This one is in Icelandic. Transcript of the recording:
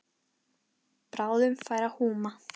Bráðum færi að húma.